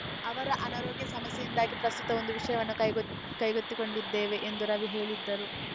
ಅವರ ಅನಾರೋಗ್ಯ ಸಮಸ್ಯೆಯಿಂದಾಗಿ ಪ್ರಸ್ತುತ ಒಂದು ವಿಷಯವನ್ನು ಕೈಗೊತ್ತಿ ಕೈಗೊತ್ತಿಕೊಂಡಿದ್ದೇವೆ ಎಂದೂ ರವಿ ಹೇಳಿದರು